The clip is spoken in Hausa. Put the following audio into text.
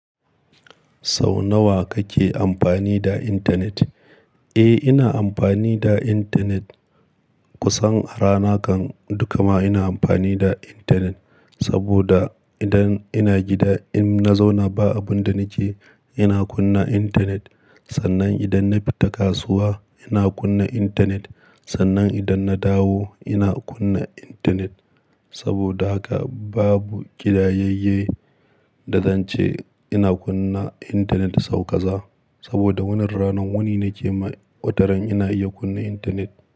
Sau nawa kake amfani da intanet? Eh, ina amfani da intanet, kusan a rana kan duka ma ina amfani da intanet. Saboda idan ina gida, in na zauna ba abun da nake, ina kunna intanet. Sannan idan na fita kasuwa, ina kunna intanet. Sannan idan na dawo, ina kunna intanet. Saboda haka babu gidayayye da zance, ina kunna intanet sau ƙaza. Saboda wannan ranan, wani nake mai, wataran ina iya kunna intanet.